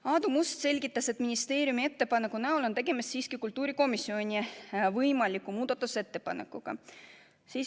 Aadu Must selgitas, et ministeeriumi ettepaneku näol on tegemist siiski kultuurikomisjoni võimaliku muudatusettepanekuga.